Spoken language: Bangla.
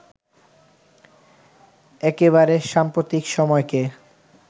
একেবারে সাম্প্রতিক সময়কে